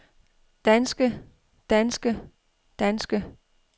danske danske danske